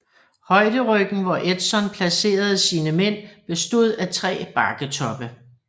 Højderyggen hvor Edson placerede sine mænd bestod af tre bakketoppe